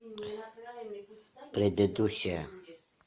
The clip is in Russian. предыдущая